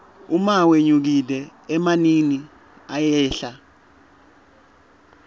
uma wenyukile emanini ayehla